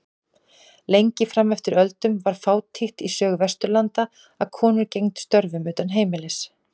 Lengi fram eftir öldum var fátítt í sögu Vesturlanda að konur gegndu störfum utan heimilis.